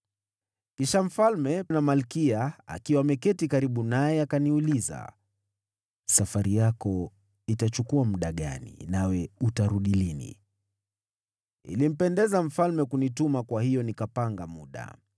Kisha mfalme, na malkia akiwa ameketi karibu naye, akaniuliza, “Safari yako itachukua muda gani, nawe utarudi lini?” Ilimpendeza mfalme kunituma, kwa hiyo nikapanga muda.